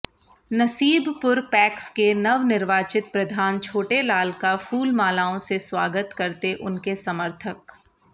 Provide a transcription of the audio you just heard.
Nasibpur PACS के नवनिर्वाचित प्रधान छोटेलाल का फूलमालाओं से स्वागत करते उनके समर्थक